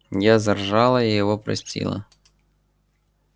я заржала и его простила